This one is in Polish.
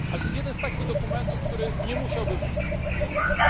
Ale to jest jeden z takich dokumentów, który nie musiałby powstać.